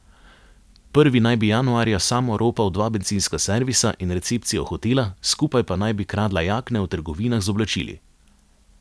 Prvi naj bi januarja sam oropal dva bencinska servisa in recepcijo hotela, skupaj pa naj bi kradla jakne v trgovinah z oblačili.